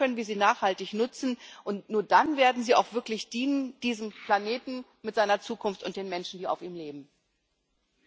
Nur dann können wir sie nachhaltig nutzen, und nur dann werden sie auch wirklich diesem Planeten mit seiner Zukunft und den Menschen, die auf ihm leben, dienen.